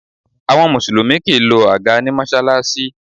Àwọn Mùsùlùmí kì í lọ àga ní Mọ́ṣáláṣí